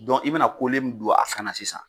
i bɛna min don a kan na sisan,